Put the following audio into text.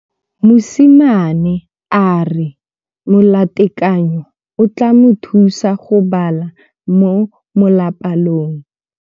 Mosimane a re molatekanyô o tla mo thusa go bala mo molapalong.